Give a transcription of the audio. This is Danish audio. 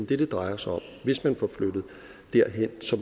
det det drejer sig om hvis man får flyttet derhen